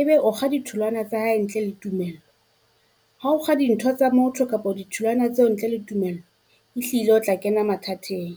e be o kga ditholwana tsa hae ntle le tumello, ha o kga dintho tsa motho kapo ditholwana tseo ntle le tumello, e hlile o tla kena mathateng.